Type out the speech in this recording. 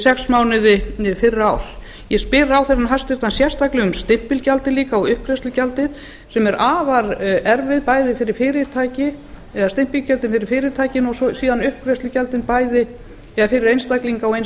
sex mánuði fyrra árs ég spyr ráðherrann sérstaklega líka um stimpilgjaldið líka og uppgreiðslugjaldið sem eru afar erfið stimpilgjöldin fyrir fyrirtækin og síðan uppgreiðslugjöldin fyrir einstaklinga og eins